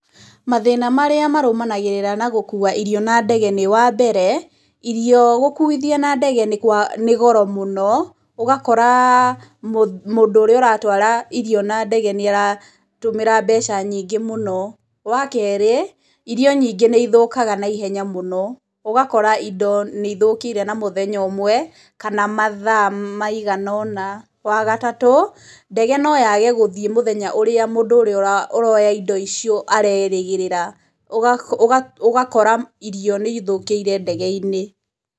Mathĩna marĩa marũmanagĩrĩra na gũkuua irio na ndege nĩ, wa mbere, irio gũkuithia na ndege nĩ kwa, nĩ goro mũno, ũgakora mũndũ ũrĩa ũratwara irio na ndege nĩaratũmĩra mbeca nyingĩ mũno, wa kerĩ, irio nyingĩ nĩ ithũkaga na ihenya mũno, ũgakora indo nĩ ithũkire na mũthenya ũmwe, kana mathaa maigana ũna, wa gatatũ, ndege no yage gũthiĩ mũthenya ũrĩa mũndũ ũrĩa ũra ũroya indo icio arerĩgĩrĩra, ũgakora irio nĩithũkĩire ndege-inĩ.